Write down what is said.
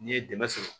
N'i ye dɛmɛ sɔrɔ